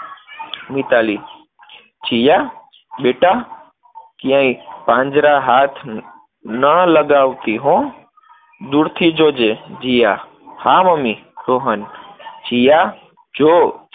મિતાલી, જીયા બેટા, ક્યાંય પાંજરે હાથ ન લગાવતી હો, દૂરથી જોજે. જીયા હા મમ્મી, રોહન જીયા, જો